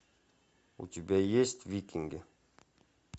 у тебя есть викинги